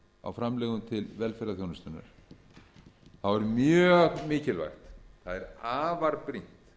á framlögum til velferðarþjónustunnar er mjög mikilvægt það er afar brýnt